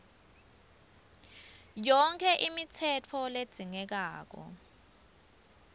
yonkhe imitsetfo ledzingekako